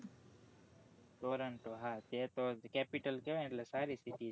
toronto હા અ તો capital કેહવાય એટલે સારી city છે.